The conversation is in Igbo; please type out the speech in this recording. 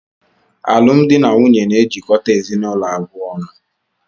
Alụmdi na nwunye na-ejikọta ezinụlọ abụọ ọnụ.